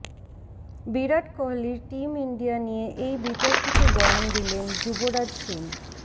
বিরাট কোহলির team India নিয়ে এই বিতর্কিত বয়ান দিলেন যুবরাজ সিং